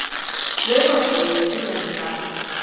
Laufásvegi Hlíðarenda